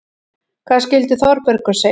Hvað skyldi Þórbergur segja?